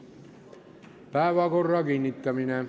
Päevakorra kinnitamine.